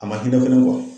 A ma hinɛ fɛnɛ